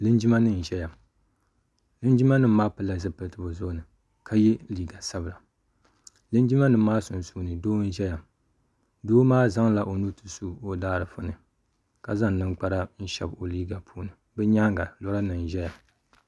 Linjima nima n zaya linjima nima maa pili la zupiliti bi zuɣu ni ka ye liiga sabila linjima nima maa sunsuuni doo n zɛya doo maa zaŋla o nuu nti su o daa giifu ni ka zaŋ nini kpara n shɛbi o liiga ni bi nyɛanga lɔra nima n zaya.